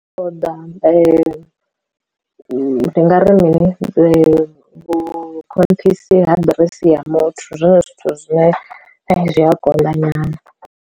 Ṱoḓa ndi nga ri ndi mini vhu khonṱhisi ha ḓiresi ya muthu zwone zwithu zwine zwi a konḓa nyana.